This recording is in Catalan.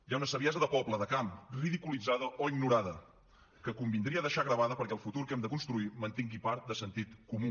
hi ha una saviesa de poble de camp ridiculitzada o ignorada que convindria deixar gravada perquè el futur que hem de construir mantingui part de sentit comú